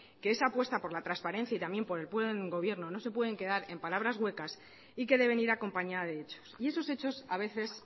que esa apuesta por la transparencia y el buen gobierno no se pueden quedar en palabras huecas y que debe ir acompañada de hechos y esos hechos a veces